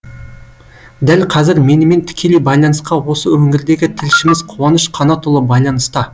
дәл қазір менімен тікелей байланысқа осы өңірдегі тілшіміз қуаныш қанатұлы байланыста